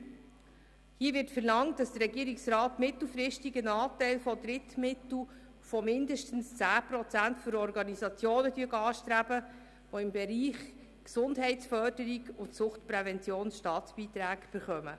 : Hier wird verlangt, der Regierungsrat solle mittelfristig einen Anteil von Drittmitteln von mindestens 10 Prozent für Organisationen anstreben, die im Bereich Gesundheitsförderung und Suchtprävention Staatsbeiträge erhalten.